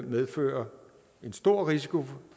medfører en stor risiko